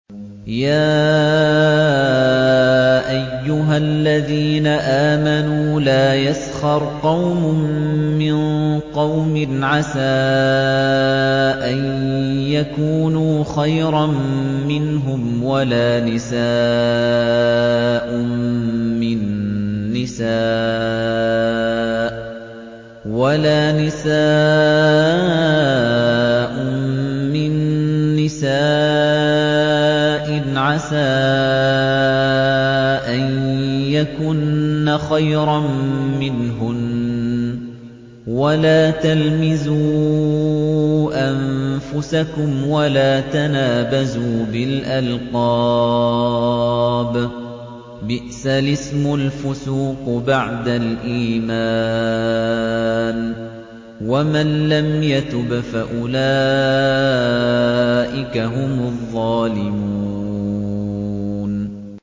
يَا أَيُّهَا الَّذِينَ آمَنُوا لَا يَسْخَرْ قَوْمٌ مِّن قَوْمٍ عَسَىٰ أَن يَكُونُوا خَيْرًا مِّنْهُمْ وَلَا نِسَاءٌ مِّن نِّسَاءٍ عَسَىٰ أَن يَكُنَّ خَيْرًا مِّنْهُنَّ ۖ وَلَا تَلْمِزُوا أَنفُسَكُمْ وَلَا تَنَابَزُوا بِالْأَلْقَابِ ۖ بِئْسَ الِاسْمُ الْفُسُوقُ بَعْدَ الْإِيمَانِ ۚ وَمَن لَّمْ يَتُبْ فَأُولَٰئِكَ هُمُ الظَّالِمُونَ